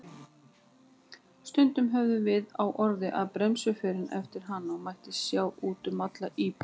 Stundum höfðum við á orði að bremsuförin eftir hana mætti sjá út um alla íbúð.